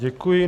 Děkuji.